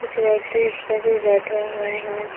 कुछ व्यक्ति उस पे भी बैठे हुए हैं।